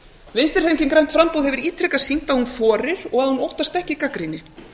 vinstri hreyfingin grænt framboð hefur ítrekað sýnt að hún þorir og að hún óttast ekki gagnrýni